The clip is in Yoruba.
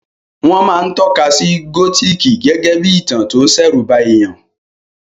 Wọ́n máa ń tọ́ka sí gótìkì gégé bí ìtàn tó ń ṣẹ̀rùba èèyàn